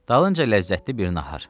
Dalınca ləzzətli bir nahar.